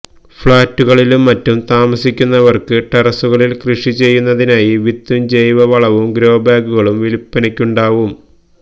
ഫഌറ്റുകളിലും മറ്റും താമസിക്കുന്നവര്ക്ക് ടെറസുകളില് കൃഷി ചെയ്യുന്നതിനായി വിത്തും ജൈവ വളവും ഗ്രോ ബാഗുകളും വില്പ്പനക്കുണ്ടാകും